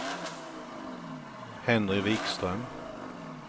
Henry Wikström